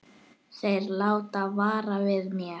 Þeir láta vara við mér.